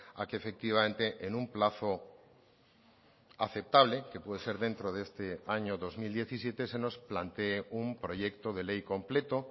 a que efectivamente en un plazo aceptable que puede ser dentro de este año dos mil diecisiete se nos plantee un proyecto de ley completo